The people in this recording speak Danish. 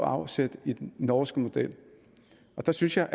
afsæt i den norske model der synes jeg